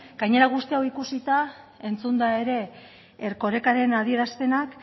gainera guzti hau ikusita entzunda ere erkorekaren adierazpenak